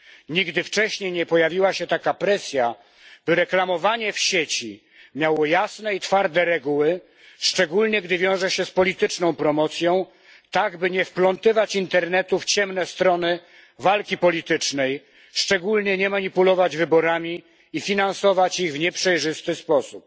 Nigdy wcześniej nie pojawiła się taka presja, by reklamowanie w sieci miało jasne i twarde reguły, szczególnie gdy wiąże się z polityczną promocją, tak by nie wplątywać internetu w ciemne strony walki politycznej szczególnie nie manipulować wyborami i finansować ich w nieprzejrzysty sposób.